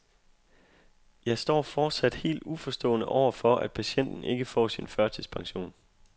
Jeg står fortsat helt uforstående over for, at patienten ikke får sin førtidspension.